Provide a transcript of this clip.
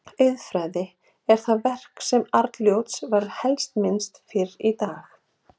Auðfræðin er það verk sem Arnljóts er helst minnst fyrir í dag.